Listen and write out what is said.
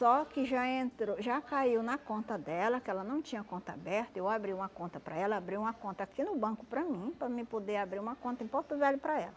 Só que já entrou, já caiu na conta dela, que ela não tinha conta aberta, eu abri uma conta para ela, abri uma conta aqui no banco para mim, para mim poder abrir uma conta em Porto Velho para ela.